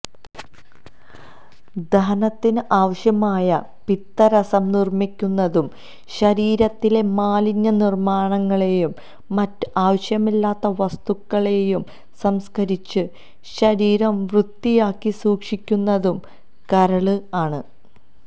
ദഹനത്തിന് ആവശ്യമായ പിത്തരസം നിര്മ്മിക്കുന്നതും ശരീരത്തിലെ മാലിന്യങ്ങളെയും മറ്റ് ആവശ്യമില്ലാത്ത വസ്തുക്കളെയും സംസ്ക്കരിച്ച് ശരീരം വൃത്തിയാക്കി സൂക്ഷിക്കുന്നതും കരള് ആണ്